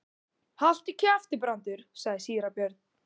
Haltu kjafti, Brandur, sagði síra Björn.